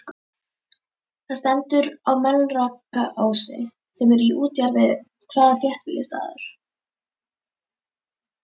Það stendur á Melrakkaási, sem er í útjaðri hvaða þéttbýlisstaðar?